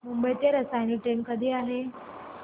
मुंबई ते रसायनी ट्रेन कधी आहे